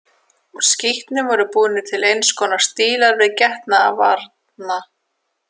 Úr skítnum voru búnir til eins konar stílar til getnaðarvarna.